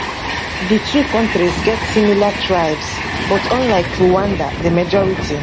di two kontris get similar tribes but unlike rwanda di majority